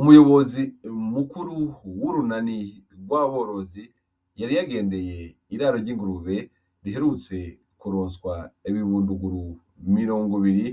Umuyobozi mukuru w'urunani rw'aborozi yari yagendeye iraro ry'ingurube riherutse kuroswa ibibunduguru mirongo ibiri